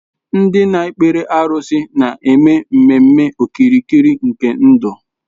Ndị na-ekpere arụsị na-eme ememe okirikiri nke ndụ.